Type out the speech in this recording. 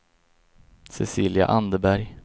Cecilia Anderberg